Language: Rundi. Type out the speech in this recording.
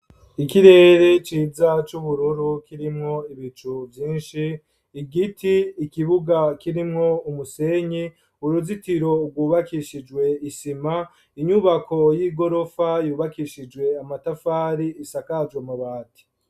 ikirere ciza, c'ubururu, kirimwo ibicu vyinshi, igiti, ikibuga kirimwo umusenyi, uruzitiro rwubakishijwe isima, inyubako y'igorofa, yubakishijwe amatafari, isakaje amabati.